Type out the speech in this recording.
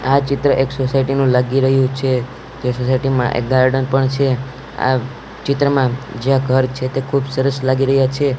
આ ચિત્ર એક સોસાયટી નું લાગી રહ્યું છે જે સોસાયટી માં એક ગાર્ડન પણ છે આ ચિત્રમાં જ્યાં ઘર છે તે ખુબ સરસ લાગી રહ્યા છે.